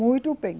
Muito bem.